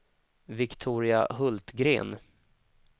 Viktoria Hultgren